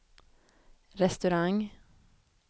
restaurang